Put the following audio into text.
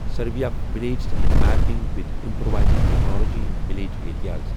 survey of villages and mapping with improvised technology in village areas